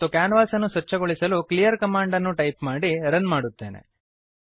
ಮತ್ತು ಕ್ಯಾನ್ವಾಸನ್ನು ಸ್ವಚ್ಛಗೊಳಿಸಲು ಕ್ಲೀಯರ್ ಕಮಾಂಡ್ ಅನ್ನು ಟೈಪ್ ಮಾಡಿ ರನ್ ಮಾಡುತ್ತೇನೆ